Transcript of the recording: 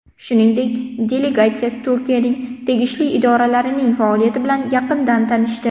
Shuningdek, delegatsiya Turkiyaning tegishli idoralarining faoliyati bilan yaqindan tanishdi.